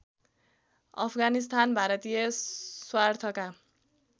अफगानिस्तान भारतीय स्वार्थका